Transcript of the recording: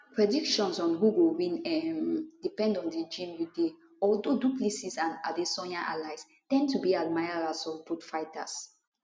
predictions on who go win um depend on di gym you dey although du plessis and adesanya allies ten d to be admirers of both fighters